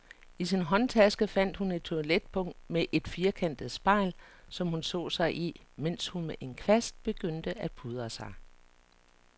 I sin håndtaske fandt hun et toiletpung med et firkantet spejl, som hun så sig i, mens hun med en kvast begyndte at pudre sig.